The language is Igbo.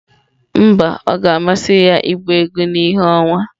Mba, ọ ga-amasị ya ịgba egwu na ìhè ọnwa.